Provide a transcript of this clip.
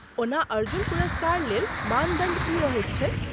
ओना, अर्जुन पुरस्कार लेल मानदण्ड की रहैत छैक?